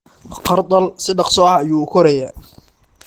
Khardal si dhakhso ah ayuu u korayaa.